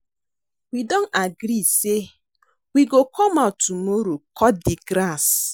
We don agree say we go come out tomorrow cut the grass